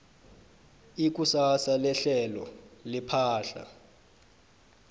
ikusasa lehlelo lepahla